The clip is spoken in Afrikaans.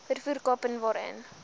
vervoer kaping waarin